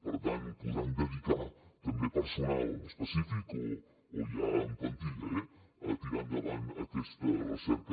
per tant podran dedicar també personal específic o ja en plantilla a tirar endavant aquesta recerca